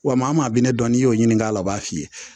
Wa maa binnen dɔn n'i y'o ɲininka a la o b'a f'i ye